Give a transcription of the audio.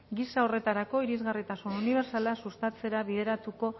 gisa horretarako irisgarritasun unibertsala sustatzera